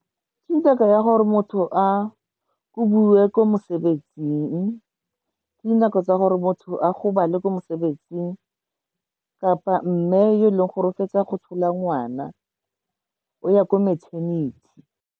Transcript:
Gore motho a kobiwe ko mosebetsing, ke dinako tsa gore motho a gobale ko mosebetsing kapa mme yo e leng gore o fetsa go tshola ngwana o ya ko maternity.